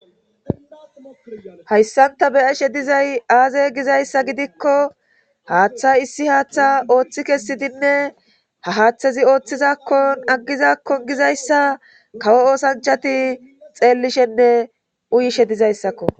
hayssan ta be7eshe dizay aaze gizayssa gidikko haaththa issi haaththa ooththi kessidinne ha haaththezi ooththizakkon aggizakkon gizayssa kawo oosanchati xeellishenne uyishe dizayssakko.